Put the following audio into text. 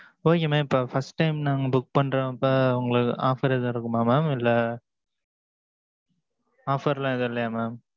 Okay mam இப்ப first time நாங்க book பன்றப்ப உங்களுக்கு offer எதாவது இருக்குமா mam இல்ல offer லாம் எதும் இல்லையா mam